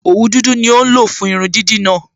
Òwu dúdú ni ó ń lò fún irun dídì náà